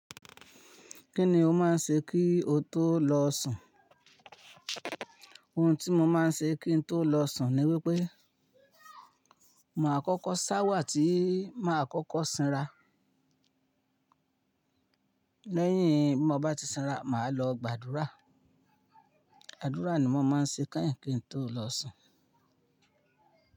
Kí ni o máa ń ṣe kí o tó lọ sùn? Ohun tí mo máa ń ṣe kí n tó lọ sùn ni wípé, ma kọ́kọ́ sáwà tí mà á kọ́kọ́ sanra. Lẹ́yìn tí mo bá ti sanra, mà á lọ gbàdúrà. Àdúrà ni mo máa ń ṣe kányìn kín n tó lọ sùn.